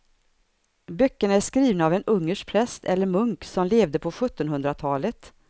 Böckerna är skrivna av en ungersk präst eller munk som levde på sjuttonhundratalet.